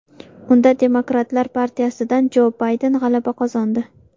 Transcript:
Unda Demokratlar partiyasidan Jo Bayden g‘alaba qozondi.